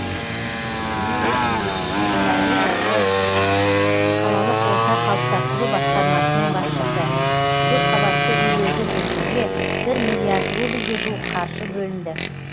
юрий бибик қолайлы жайлы қалалық орта қалыптастыру басқармасының басшысы көпқабатты үйлерді жөндеуге бір миллиард рубльге жуық қаржы бөлінді